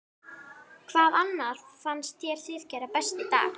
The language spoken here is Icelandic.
Hvað annað fannst þér þið gera best í dag?